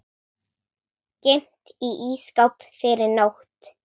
Geymt í ísskáp yfir nótt.